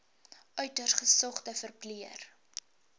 uiters gesogde verpleër